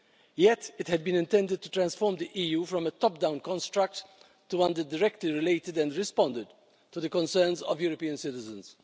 Yet it had been intended to transform the EU from a top-down construct to one that directly related and responded to the concerns of European citizens.